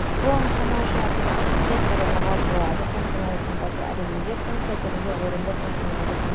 бұл анықтама үшін әртүрлі әдістер қолдануға болады функционалдық таңбасы әлемінде функция түрінде орынды функционалды таңба